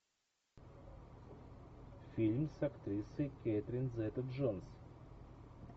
фильм с актрисой кэтрин зета джонс